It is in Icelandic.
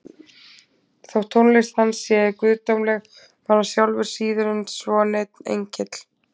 Þótt tónlist hans sé guðdómleg var hann sjálfur síður en svo neinn engill.